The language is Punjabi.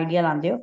idea ਲਾਦੇ ਹੋ